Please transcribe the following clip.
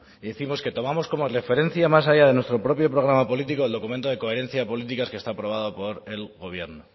decimos que tomamos como referencia más allá de nuestro propio programa político el documento de coherencia de políticas que está aprobado por el gobierno